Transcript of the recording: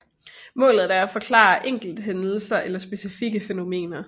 Målet er at forklare enkelthændelser eller specifikke fænomener